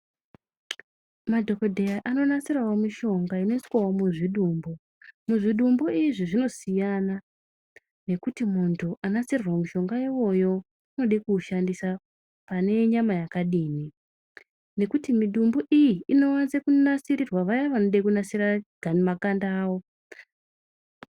Madhokodheya anonasirwo mushonga inoiswawo muzvidumbu muzvidumbu izvi zvinosiyana nekuti muntu anasirirwa mushonga iwoyo unode kuushandisa pane nyamabyakadini nekuti mudumbu iyi inowanze kunasirirwa vaye vanoda kunasira ga makanda awo.